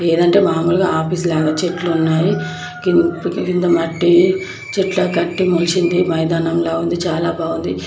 లేదంటే మామూలుగా ఆఫీస్ లాగా చెట్లున్నాయి. కి కింద మట్టి చెట్లకు కట్టి మొలిసింది. మైదానంలా ఉంది. చాలా బాగుంది.